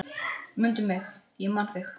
Mundu mig, ég man þig